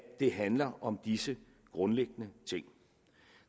det handler om disse grundlæggende ting